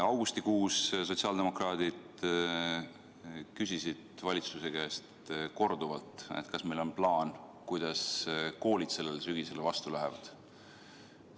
Augustikuus küsisid sotsiaaldemokraadid valitsuse käest korduvalt, kas meil on plaan, kuidas koolid sellele sügisele vastu lähevad.